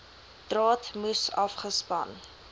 draad moes afgespan